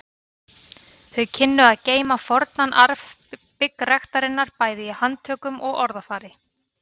Þau kynnu að geyma fornan arf byggræktarinnar bæði í handtökum og orðafari.